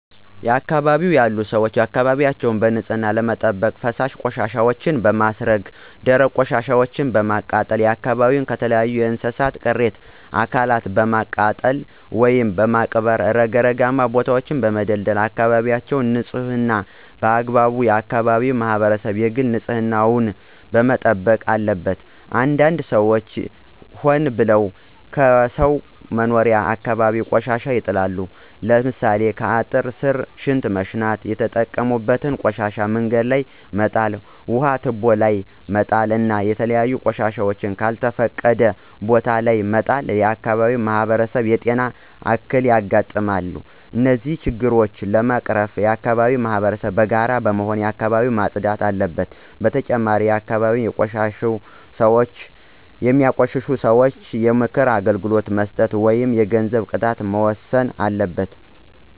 በአካባቢው ያሉ ሰዎች አካባቢያቸውን በንፅህና ለመጠበቅ ፈሳሽ ቆሻሻወችን በማስረገ ደረቅ ቆሻሻወችን በማቃጠል አካባቢዎችን ከተለያዩ የእንስሳት ቅሬተ አካላትን በማቃጠል ወይም በመቅበር ረግረጋማ ቦታወችን በመደልደል አካበቢወችን ንፅህና በአግባቡ የአከባቢው ማህበረሰብ የግል ንፅህና ዉን መጠበቅ አለበት። አንዳንድ ሰዎች ሆን ብለው ከሰው መኖሪያ አካባቢ ቆሻሻ ይጥላሉ። ለምሳሌ ከአጥር ስር ሽንት መሽናት የተጠቀሙበትን ቆሻሻ መንገድ ላይ መጣል ውሀ ቱቦ ላይ መጣል እና የተለያዩ ቆሻሻወችን ከልተፈቀደ ቦታ ለይ መጣል ለአካባቢው ማህበረሰብ የጤና እክል ያጋጥማል። እነዚህን ችግሮች ለመቀረፍ የአከባቢው ማህበረሰብ በጋራ በመሆን አካባቢውን ማፅዳት አለበት። በተጨማሪም አካባቢን የሚያቆሽሹ ሰወች ላይ የምክር አገልግሎት መስጠት ወይም የገንዘብ ቅጣት መወሰን አለበት።